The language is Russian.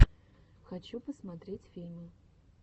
хочу посмотреть фильмы